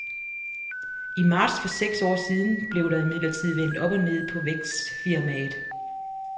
I marts for seks år siden bliver der imidlertid vendt op og ned på vækstfirmaet.